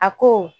A ko